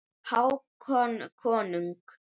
Hákon konung.